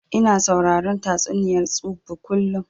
Ina sauraron tatsuniyar tsubu kullum